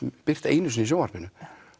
birt einu sinni í sjónvarpinu